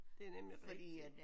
Det er nemlig rigtigt